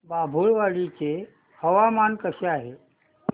बाभुळवाडी चे हवामान कसे आहे